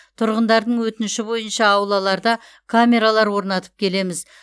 тұрғындардың өтініші бойынша аулаларда камералар орнатып келеміз